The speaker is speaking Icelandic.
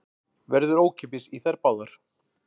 Verður ókeypis í þær báðar